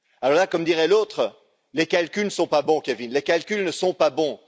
Là, comme dirait l'autre, les calculs ne sont pas bons, Kevin, les calculs ne sont pas bons.